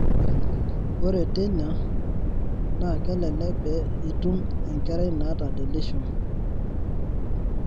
ore teina, naa kelelek pee itum Enkerai naata deletion.